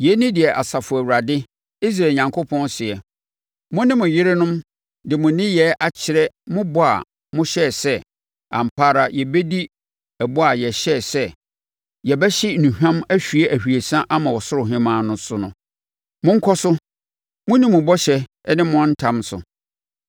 Yei ne deɛ Asafo Awurade, Israel Onyankopɔn seɛ: Mo ne mo yerenom de mo nneyɛɛ akyerɛ mo bɔ a mohyɛɛ sɛ, ‘Ampa ara yɛbɛdi ɛbɔ a yɛhyɛɛ sɛ, yɛbɛhye nnuhwam ahwie ahwiesa ama Ɔsoro Hemmaa no, no so.’ “Monkɔ so, monni mo bɔhyɛ ne mo ntam so!